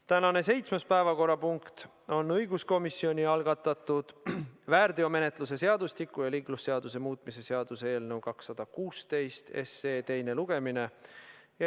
Tänane seitsmes päevakorrapunkt on õiguskomisjoni algatatud väärteomenetluse seadustiku ja liiklusseaduse muutmise seaduse eelnõu 216 teine lugemine.